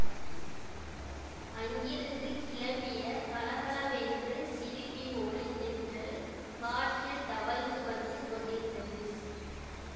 அங்கிருந்து கிளம்பிய கலகலவென்று சிரிப்பின் ஒலி தென்றல் காற்றில் தவழ்ந்து வந்து கொண்டிருந்தது